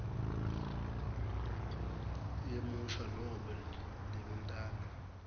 yemusho nobe libintana